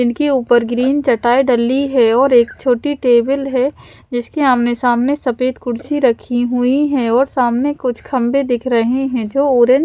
इनके ऊपर ग्रीन चटाई डली है और एक छोटी टेबल है जिसके आमने सामने सफेद कुर्सी रखी हुई है और सामने कुछ खंबे दिख रहे हैं जो ओर--